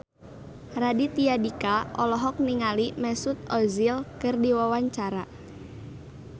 Raditya Dika olohok ningali Mesut Ozil keur diwawancara